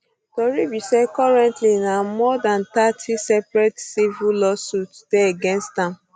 um tori be say currently na more dan thirty separate civil lawsuits dey against am